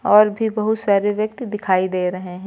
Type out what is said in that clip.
और भी बहुत सारे व्यक्ति दिखाई दे रहे हैं।